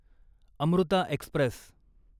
Amruta Express